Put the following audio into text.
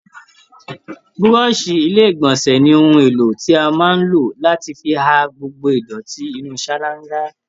Búrọ̀ọ̀ṣì ilé ìgbọ̀nsẹ̀ ni ohun èlò tí a máa ń lò láti fi ha gbogbo ìdọ̀tí inú ṣáláńgá